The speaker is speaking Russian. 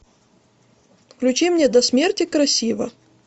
включи мне до смерти красиво